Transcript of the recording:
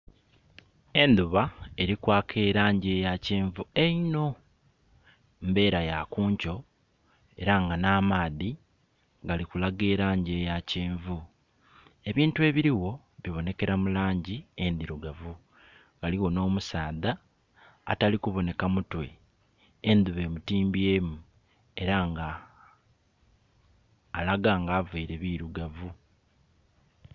Endhuba eri kwaaka elangi eya kyenvu einho. Mbera ya kunkyo era nga na maadhi galikulaga elangi eya kyenvu, ebintu ebirigho bibonekera mu langi endhirugavu. Ghaligho n'omusaadha atali kuboneka mutwe endhuba emutimbye mu era nga alaga nga aveire birugavu.